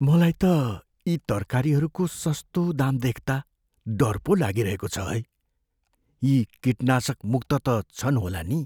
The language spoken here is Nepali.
मलाई त यी तरकारीहरूको सस्तो दाम देख्ता डर पो लागिरहेको छ है। यी किटनाशकमुक्त त छन् होला नि!